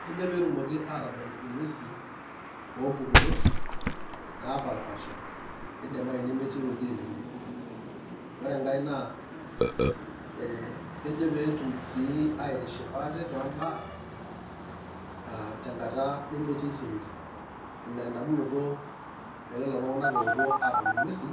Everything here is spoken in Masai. Kejo petumoki atodol ing'uesin, ompukunot napapasha, neidimayu metii iwuejiting' enye. Ore enkae naa, eh kejo peetum si aitishipa aate tombaa, ah tenkata nemetii siaitin. Ina edamunoto elelo tung'anak opuo adol ing'uesin,